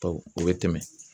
o bɛ tɛmɛ.